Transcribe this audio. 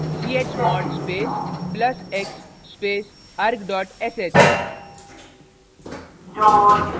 chmod space plus x space arg sh